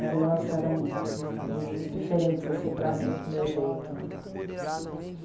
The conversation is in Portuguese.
Elas eram meio diferentes, assim, para mim, para o meu jeito, né.